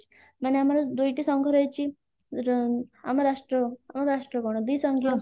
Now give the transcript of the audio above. ମାନେ ଆମର ଦୁଇଟି ସଂଘ ରହିଛି ର ଆମ ରାଷ୍ଟ୍ର ଆମ ରାଷ୍ଟ୍ର ଗଣ ଦୁଇ